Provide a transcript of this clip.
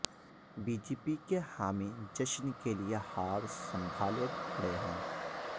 B J پی کے حامی جشن کے لیے ہار سنبھالے کھڑ ے ہیں